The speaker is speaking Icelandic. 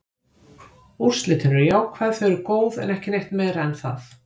Úrslitin eru jákvæð, þau eru góð, en ekki neitt meira en það.